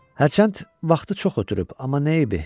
Hərçənd vaxtı çox ötürüb, amma nə eybi?